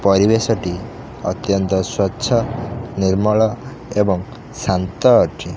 ପରିବେଶ ଟି ଅତ୍ୟନ୍ତ ସ୍ବଚ୍ଛ ନିର୍ମଳ ଏବଂ ଶାନ୍ତ ଅଛି।